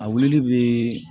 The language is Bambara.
A wuli bi